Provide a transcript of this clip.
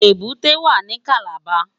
Ébùté wá ni Kàlábá